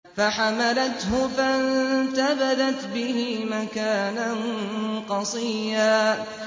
۞ فَحَمَلَتْهُ فَانتَبَذَتْ بِهِ مَكَانًا قَصِيًّا